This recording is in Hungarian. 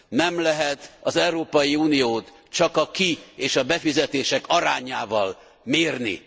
Nem lehet az Európai Uniót csak a ki és a befizetések arányával mérni.